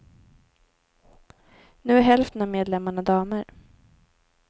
Nu är hälften av medlemmarna damer.